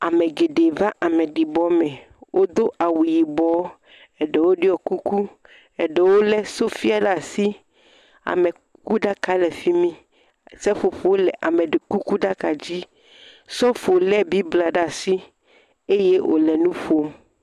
Amegeɖe va ameɖibɔme, wodo awu yibɔ. Eɖewo ɖiɔ kuku, eɖewo le sofia ɖe asi. Amekuku ɖaka le fimi, seƒoƒo le amekuku dzi. Sɔfo le bibla ɖe asi eye wole nuƒom.